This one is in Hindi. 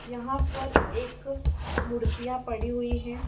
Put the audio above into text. यहाँ पर एक मूर्तिया पड़ी हुई है।